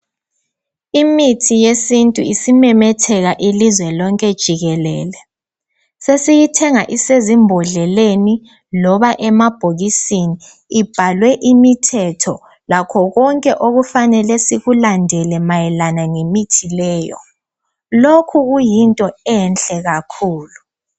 Imithi yesintu isimemetheka ilizwe lonke jikelele. Sesiyithenga isezimbodleleni loba emabhokisini ibhalwe imithetho lakho konke okufanele sikulandele mayelana lemithi leyo. Lokhu kuyinto enhle kakhulu